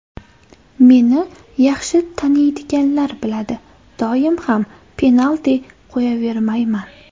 Meni yaxshi taniydiganlar biladi, doim ham penalti qo‘yavermayman.